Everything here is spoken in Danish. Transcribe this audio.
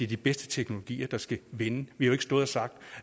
de bedste teknologier der skal vinde vi har jo ikke stået og sagt